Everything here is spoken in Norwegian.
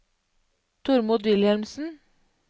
Tormod Wilhelmsen